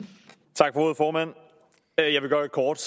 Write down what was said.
tak for ordet formand jeg vil gøre det kort